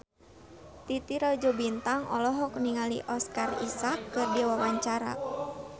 Titi Rajo Bintang olohok ningali Oscar Isaac keur diwawancara